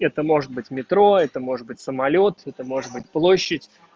это может быть метро это может быть самолёт это может быть площадь